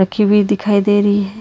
की भी दिखाई दे रही है।